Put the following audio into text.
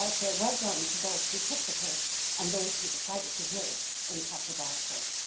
So I say well done to those who took the case, and those who decided to hear it in the Castlebar court.